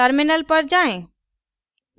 terminal पर जाएँ